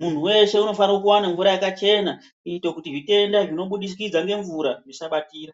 Muntu veshe unofane kuvana mvura yakachena kuita kuti zvitenda zvinobudikidza ngemvura zvisabatira.